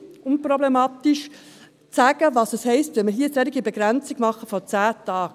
Man kann relativ einfach aufzeigen, was es heisst, wenn wir hier eine solche Begrenzung von zehn Tagen machen.